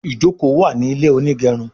ìjoko wá ní ilé onigerun